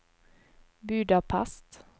Budapest